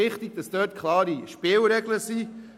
Deshalb müssen klare Spielregeln gelten.